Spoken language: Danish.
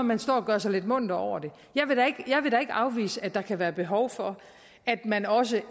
man står og gør sig lidt munter over det jeg vil da ikke afvise at der kan være behov for at man også